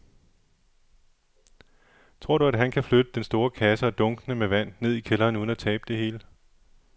Tror du, at han kan flytte den store kasse og dunkene med vand ned i kælderen uden at tabe det hele?